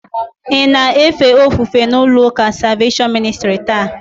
Ị na-efe ofufe n'ụlọụka Salveshọn Ministrị taa?